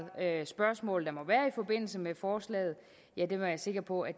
spørgsmål der må være i forbindelse med forslaget er jeg sikker på at